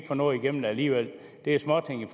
få noget igennem alligevel det er småting i